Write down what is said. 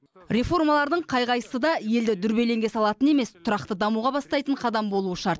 реформалардың қай қайсысы да елді дүрбелеңге салатын емес тұрақты дамуға бастайтын қадам болуы шарт